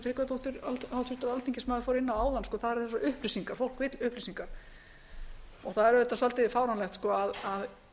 tryggvadóttir fór inn á áðan þær eru eins og upplýsingar fólk vill upplýsingar og það er auðvitað svolítið fáránlegt að